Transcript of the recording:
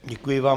Děkuji vám.